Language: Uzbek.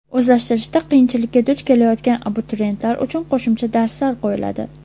O‘zlashtirishda qiyinchilikka duch kelayotgan abituriyentlar uchun qo‘shimcha darslar qo‘yiladi.